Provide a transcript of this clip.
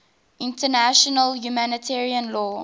international humanitarian law